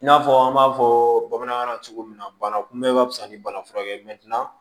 I n'a fɔ an b'a fɔ bamanankan na cogo min na bana kunbɛ ka fisa ni bana furakɛ